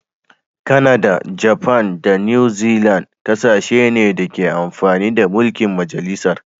Kanada, Japan da new Zealand kasashe ne da ke amfani da mulki'n majalisar.